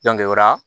o la